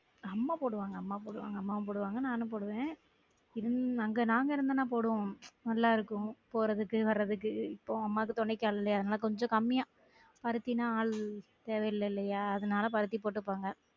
அம்மா போடுவாங்க அம்மா போடுவாங்க அம்மாவும் போடுவாங்க நானும் போடுவன் இல்ல அங்க நாங்க இருந்தோம்ன போடுவோம் நல்லா இருக்கும் போறதுக்கு வர்றதுக்கு இப்ப அம்மாக்கும் துணைக்கு ஆளு இல்லயா அதனால கொஞ்ச கம்மியா பருத்தினா ஆள் தேவை இல்ல இல்லையா அதனால பருத்தி போட்டுருப்பாங்க